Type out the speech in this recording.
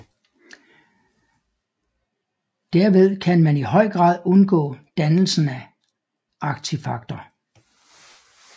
Derved kan man i høj grad undgå dannelsen ad artefakter